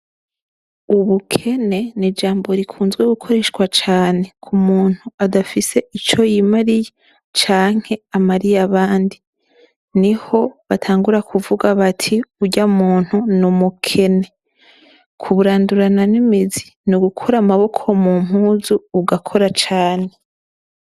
Ubukene n’ijambo rikunzwe gukoreshwa cane kumuntu adafise ico yimariye canke amariye abandi, niho batangura kuvuga bati urya muntu n’umukene, kuburandurana n’imizi nugukura amaboko mumpuzu ugakora cane.